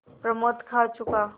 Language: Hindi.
प्रमोद खा चुका